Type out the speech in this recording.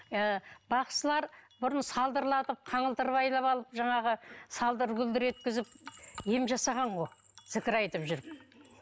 ы бақсылар бұрын салдырлатып қаңылтыр байлап алып жаңағы салдыр гүлдір еткізіп ем жасаған ғой зікір айтып жүріп